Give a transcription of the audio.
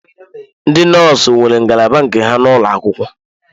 Ndị nọọsụ nwere ngalaba nke ha n'ụlọ akwụkwọ.